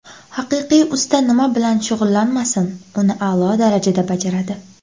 Haqiqiy usta nima bilan shug‘ullanmasin, uni a’lo darajada bajaradi.